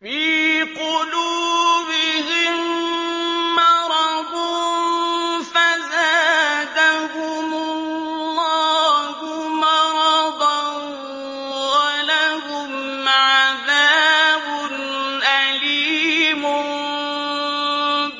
فِي قُلُوبِهِم مَّرَضٌ فَزَادَهُمُ اللَّهُ مَرَضًا ۖ وَلَهُمْ عَذَابٌ أَلِيمٌ